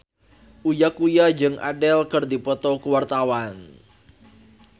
Uya Kuya jeung Adele keur dipoto ku wartawan